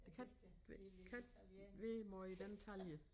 Der kan ikke kan være måj i den talje